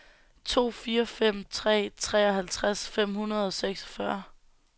to fire fire tre treoghalvtreds fem hundrede og seksogfyrre